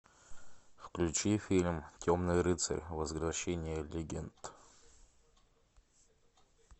включи фильм темный рыцарь возвращение легенды